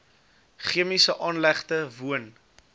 chemiese aanlegte woon